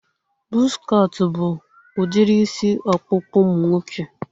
Buzz cut bụ udiri isi ọkpụkpụ ụmụ nwoke